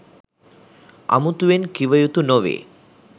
අමුතුවෙන් කිවයුතු නොවේ.